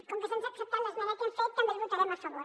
com que se’ns ha acceptat l’esmena que hem fet també el votarem a favor